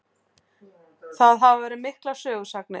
Það hafa verið miklar sögusagnir.